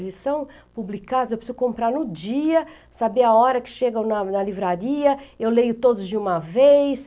Eles são publicados, eu preciso comprar no dia, saber a hora que chegam na na livraria, eu leio todos de uma vez.